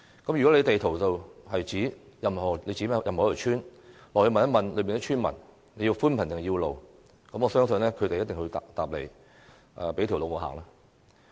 如果在地圖上物色任何一條村，到訪當地並詢問村民需要寬頻還是道路，我相信他們一定是說"給我一條路走"。